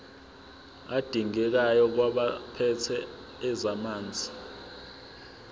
adingekayo kwabaphethe ezamanzi